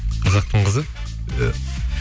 қазақтың қызы иә